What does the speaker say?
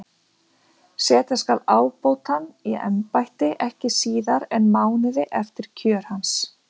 Setja skal ábótann í embætti ekki síðar en mánuði eftir kjör hans.